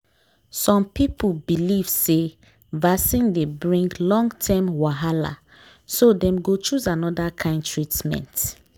some people believe say vaccine dey bring long term wahala so dem go choose another kind treatment.